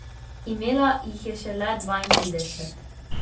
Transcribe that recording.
Imela jih je šele dvaintrideset.